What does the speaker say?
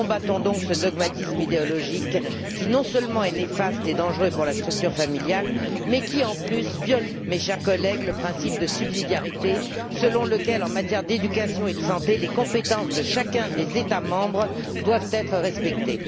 Nous combattons donc ce dogmatisme idéologique qui non seulement est néfaste et dangereux pour la structure familiale, mais qui en plus, mes chers collègues, viole le principe de subsidiarité selon lequel, en matière d'éducation et de santé, les compétences de chacun des États membres doivent être respectées.